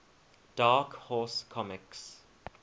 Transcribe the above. dark horse comics